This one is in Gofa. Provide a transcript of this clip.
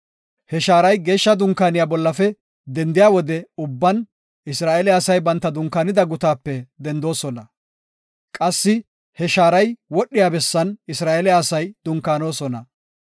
He shaaray Geeshsha Dunkaaniya bollafe dendiya wode ubban Isra7eele asay banta dunkaanida gutaape dendoosona. Qassi he shaaray wodhiya bessan Isra7eele asay dunkaanosona.